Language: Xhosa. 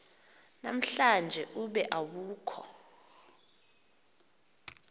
namhlanje ube awukho